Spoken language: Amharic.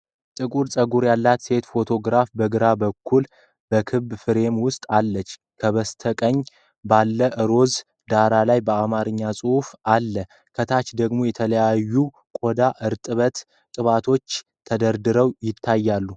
ጥቁር ጸጉር ያላት ሴት ፎቶግራፍ በግራ በኩል በክብ ፍሬም ውስጥ አለች። ከበስተቀኝ ባለው ሮዝ ዳራ ላይ የአማርኛ ጽሑፍ አለ። ከታች ደግሞ የተለያዩ የቆዳ እርጥበት ቅባቶች ተደርድረው ይታያሉ።